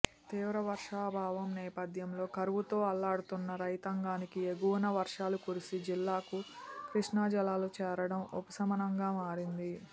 తీవ్ర వర్షాభావం నేపథ్యంలో కరువుతో అల్లాడుతున్న రైతాంగానికి ఎగువన వర్షాలు కురిసి జిల్లాకు కృష్ణా జలాలు చేరడం ఉపశమనంగా మారింది